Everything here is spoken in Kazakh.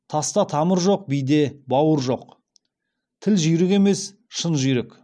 таста тамыр жоқ биде бауыр жоқ тіл жүйрік емес шын жүйрік